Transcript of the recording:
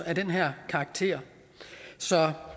af den her karakter så